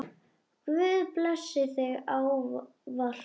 Guð blessi þig ávallt.